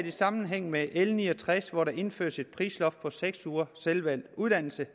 i sammenhæng med l ni og tres hvor der indføres et prisloft på seks ugers selvvalgt uddannelse